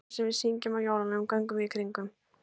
Í kvæðinu sem við syngjum á jólunum, Göngum við í kringum.